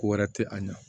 Ko wɛrɛ tɛ a ɲɛ